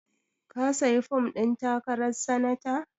Ka sayi fom ɗin takarar sanata?